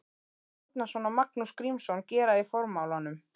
Árnason og Magnús Grímsson gera í formálanum.